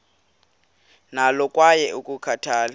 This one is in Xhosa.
nalo kwaye ulikhathalele